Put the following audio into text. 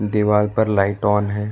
दीवार पर light on है।